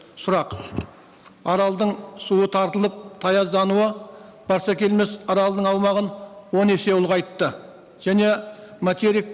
сұрақ аралдың суы тартылып таяздануы барсакелмес аралының аумағын он есе ұлғайтты және материк